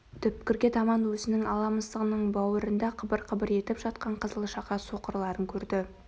түкпірге таман өзінің ала мысығының бауырында қыбыр-қыбыр етіп жатқан қызыл-шақа соқырларын көрді